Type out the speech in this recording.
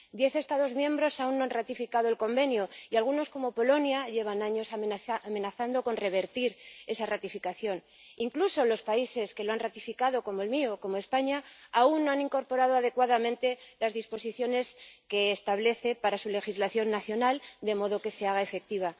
Diez Estados miembros aún no han ratificado el Convenio y algunos, como Polonia, llevan años amenazando con revertir esa ratificación. Incluso los países que lo han ratificado, como el mío, España, aún no han incorporado adecuadamente las disposiciones en su legislación nacional, de modo que se haga efectivo.